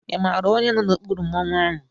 Ị maara onye nọ n'okpuru Mmanwu ahụ?